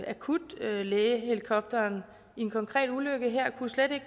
akutlægehelikopteren i en konkret ulykke slet ikke